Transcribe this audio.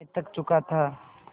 मैं थक चुका था